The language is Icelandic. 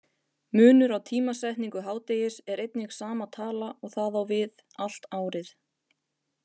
Munur á tímasetningu hádegis er einnig sama tala og það á við allt árið.